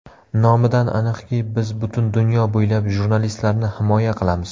Nomidan aniqki, biz butun dunyo bo‘ylab jurnalistlarni himoya qilamiz.